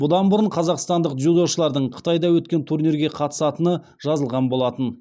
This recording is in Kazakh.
бұдан бұрын қазақстандық дзюдошылардың қытайда өткен турнирге қатысатыны жазылған болатын